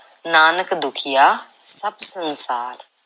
ਨਾਨਕ ਦੁਖੀਆ ਸਭ ਸੰਸਾਰ।